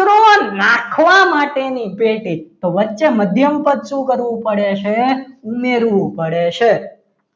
કચરો નાખવા માટેની પેટી તો વચ્ચે મધ્યમ પદ શું કરવું પડે છે ઉમેરવું પડે છે